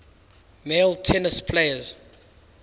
male tennis players